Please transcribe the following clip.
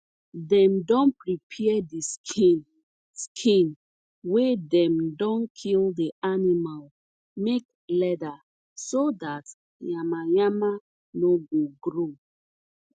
dem don prepare de skin skin wey dem don kill de animal make leather so dat yama yama no go grow